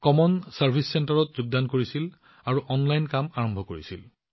তেওঁ common service centre CSC ইষ্টোৰত যোগদান কৰে আৰু অনলাইন কাম আৰম্ভ কৰে